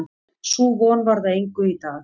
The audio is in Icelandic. Sú von varð að engu í dag.